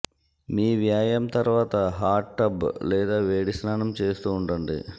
మీ వ్యాయామం తర్వాత hot tub లేదా వేడి స్నానం చేస్తూ ఉండండి